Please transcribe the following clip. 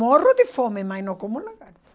Morro de fome, mas não como lagarto.